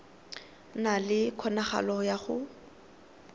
na le kgonagalo ya go